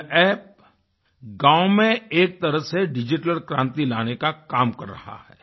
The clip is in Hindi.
यह App गाँव में एक तरह से डिजिटल क्रांति लाने का काम कर रहा है